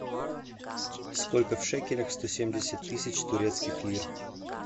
сколько в шекелях сто семьдесят тысяч турецких лир